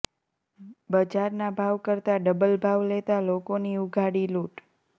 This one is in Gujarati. બજારના ભાવ કરતા ડબલ ભાવ લેતા લોકોની ઉઘાડી લુંટ